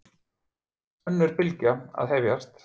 Önnur bylgja að hefjast